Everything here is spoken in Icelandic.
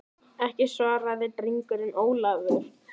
Ekki, svaraði drengurinn Ólafur.